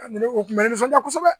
Ka ne ko kun bɛ nisɔnja kosɛbɛ